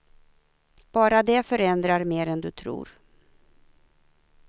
Bara det förändrar mer än du tror.